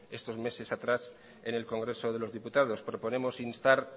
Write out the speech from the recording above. estos meses atrás en el congreso de los diputados proponemos instar